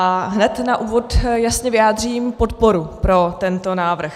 A hned na úvod jasně vyjádřím podporu pro tento návrh.